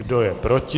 Kdo je proti?